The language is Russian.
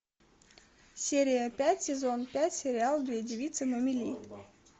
серия пять сезон пять сериал две девицы на мели